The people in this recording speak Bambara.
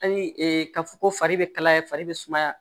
Hali ka fɔ ko fari be kalaya fari be sumaya